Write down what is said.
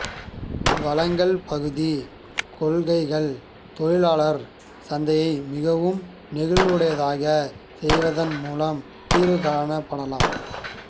வழங்கல்பகுதி கொள்கைகள் தொழிலாளர் சந்தையை மிகவும் நெகிழ்வுடையதாகச் செய்வதன் மூலம் தீர்வு காணப்படலாம்